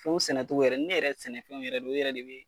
Pɔmu sɛnɛ togo yɛrɛ, ne yɛrɛ mana sɛnɛfɛnw ye o yɛrɛ de bɛ